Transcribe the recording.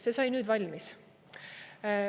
See sai nüüd valmis.